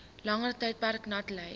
langer tydperk natlei